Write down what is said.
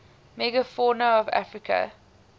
megafauna of africa